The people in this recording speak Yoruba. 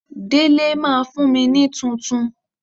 Délé máa fún mi ní tuntun.